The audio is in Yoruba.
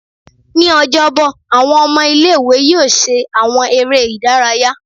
Ni Ọjọbọ, awọn ọmọ ile-iwe yóò ṣe awọn eré ìdárayá